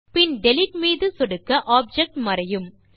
பின்னர் டிலீட் மீது சொடுக்க ஆப்ஜெக்ட் மறையும்